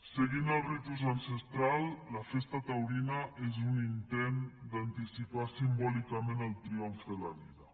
seguint el ritu ancestral la festa taurina és un intent d’anticipar simbòlicament el triomf de la vida